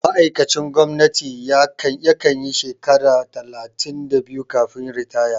Ma'aikacin gwamnati ya kanyi shekara talatin da biyu kafin ritaya